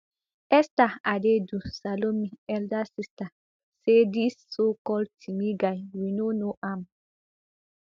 esther adaidu salome elder sister saydis socalled timi guy we no know am